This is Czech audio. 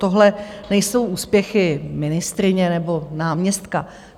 Tohle nejsou úspěchy ministryně nebo náměstka.